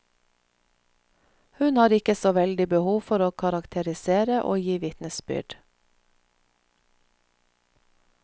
Hun har ikke så veldig behov for å karakterisere og gi vitnesbyrd.